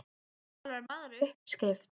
Og þú talar um aðra uppskrift.